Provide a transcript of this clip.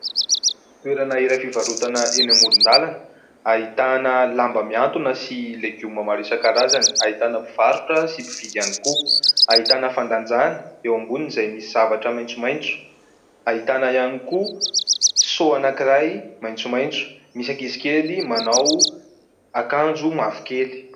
Toerana iray fivarotana eny amoron-dalana. Ahitana lamba miantona sy legioma maro isankarazany. Ahitana mpivarotra sy mpividy ihany koa. Ahitana fandanjana eo amboniny izay misy zavatra maitsomaitso. Ahitana ihany koa "seau" anankiray maitsomaitso. Misy ankizy kely manao akanjo mavokely.